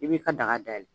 I b'i ka daga dayɛlɛ